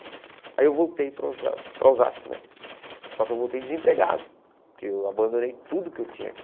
Aí eu voltei para Osa para Osasco né, só que eu voltei desempregado, porque eu abandonei tudo que eu tinha aqui.